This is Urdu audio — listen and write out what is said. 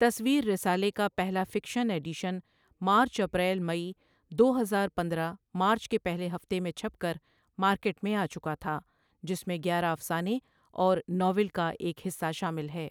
تصویر رسالے کا پهلا fiction edition March April May دو ہزار پندرہ مارچ کے پهلے هفتے میں چھپ کر مارکبٹ میں آچکا تھا جس میں گیاره افسانے اور ناول کا ایک حصه شامل ہے ۔